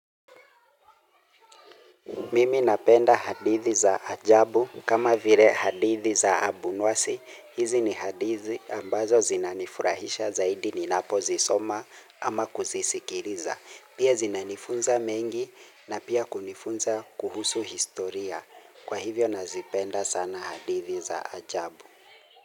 Mimi napenda hadithi za ajabu. Kama vile hadithi za abunwasi, hizi ni hadithi ambazo zinanifurahisha zaidi ninapo zisoma ama kuzisikiliza. Pia zinanifunza mengi na pia kunifunza kuhusu historia. Kwa hivyo nazipenda sana hadithi za ajabu.